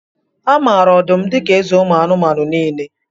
A maara ọdụm dika eze ụmụ anụmanụ niile